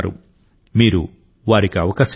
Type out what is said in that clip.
మీరు వారికి అవకాశం ఇవ్వండి